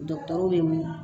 bɛ mun